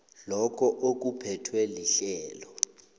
lokho okuphethwe lirhelo